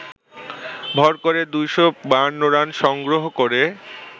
ভর করে ২৫২ রান সংগ্রহ করে